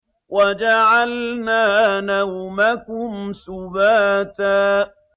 وَجَعَلْنَا نَوْمَكُمْ سُبَاتًا